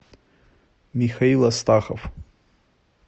михаил астахов